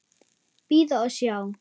Bíða og sjá.